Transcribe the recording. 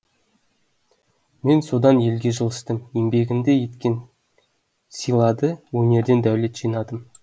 мен содан елге жылыстым еңбегімді еткен сыйлады өнерден дәулет жинадым